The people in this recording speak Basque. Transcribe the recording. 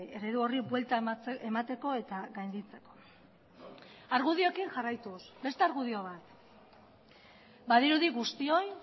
eredu horri buelta emateko eta gainditzeko argudioekin jarraituz beste argudio bat badirudi guztioi